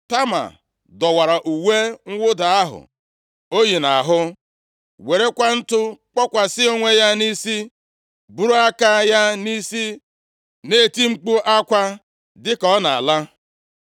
Tama dọwara uwe + 13:19 \+xt Jos 7:6; 2Sa 1:2; Job 2:12; 42:6\+xt* mwụda ahụ o yi nʼahụ, werekwa ntụ kpokwasị onwe ya nʼisi, buru aka ya nʼisi na-eti mkpu akwa dịka ọ na-ala.